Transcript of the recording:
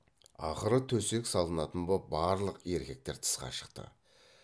ақыры төсек салынатын боп барлық еркектер тысқа шықты